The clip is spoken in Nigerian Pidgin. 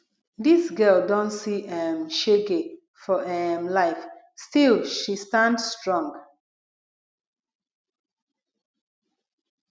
dis girl don see um shege for um life still she stand strong